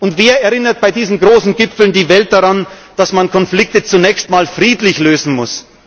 machen. Und wer erinnert bei diesen großen Gipfeln die Welt daran, dass man Konflikte zunächst einmal friedlich lösen